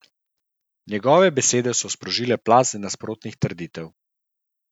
Njegove besede so sprožile plaz nasprotnih trditev.